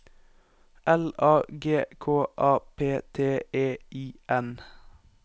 L A G K A P T E I N